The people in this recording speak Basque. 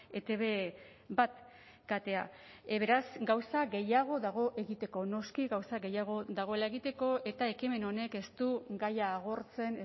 etb bat katea beraz gauza gehiago dago egiteko noski gauza gehiago dagoela egiteko eta ekimen honek ez du gaia agortzen